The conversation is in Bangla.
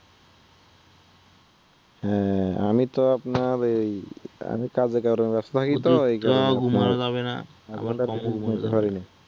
হ্যাঁ আমি তো আপনার ঐ আমি কাজেকর্মে ব্যস্ত থাকি তো